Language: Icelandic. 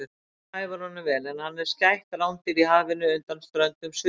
Nafnið hæfir honum vel en hann er skætt rándýr í hafinu undan ströndum Suðurskautslandsins.